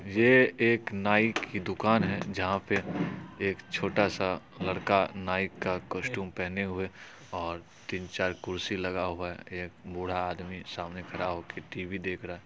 ये एक नाई की दुकान है जहां पे एक छोटा सा लड़का नाईट का कौस्टुम पहने हुए और तीन -चार कुर्सी लगा हुआ है एक बुढ़ा आदमी सामने खड़ा होके टीवी देख रहा है।